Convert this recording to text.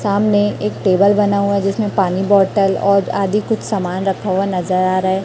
सामने एक टेबल बना हुआ जिसमें पानी बॉटल और आदि कुछ सामान रखा हुआ नजर आ रहा है।